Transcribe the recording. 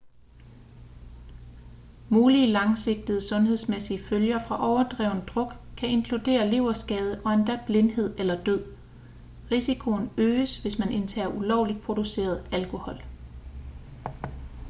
mulige langsigtede sundhedsmæssige følger fra overdreven druk kan inkludere leverskade og endda blindhed eller død risikoen øges hvis man indtager ulovligt produceret alkohol